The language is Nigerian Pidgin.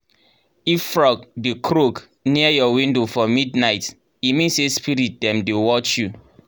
if frog dey croak near your window for midnight e mean say spirit dem dey watch you.